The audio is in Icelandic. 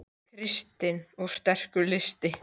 Kristinn: Og sterkur listi?